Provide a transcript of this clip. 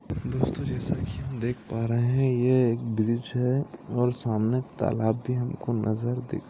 दोस्तो जैसा की हम देख पा रहे है यह एक ब्रिज है और सामने तालाब भी हमको नजर दिख--